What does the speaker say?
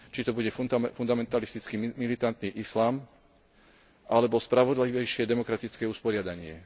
Či to bude fundamentalistický militantný islám alebo spravodlivejšie demokratické usporiadanie.